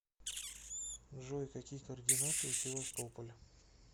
джой какие координаты у севастополь